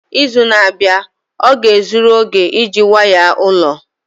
Izu na-abịa ọ ga-ezuru oge iji waya ụlọ?